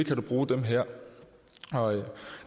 kan bruge dem her